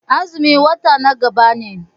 Azumi wata na gaba ne.